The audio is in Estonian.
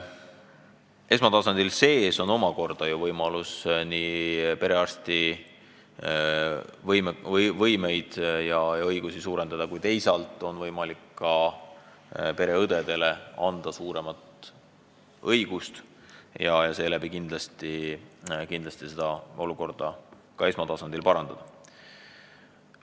Esmatasandil on omakorda ju võimalik nii perearsti võimalusi ja õigusi suurendada, kui teisalt on võimalik ka pereõdedele anda rohkem õigusi ja seeläbi kindlasti olukorda esmatasandil parandada.